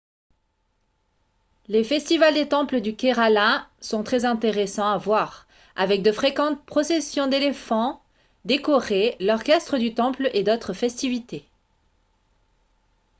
les festivals des temples du kerala sont très intéressants à voir avec de fréquentes processions d'éléphants décorés l'orchestre du temple et d'autres festivités